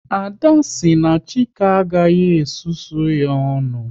Ada kwuru na Chike agaghị e susu ya ọnụ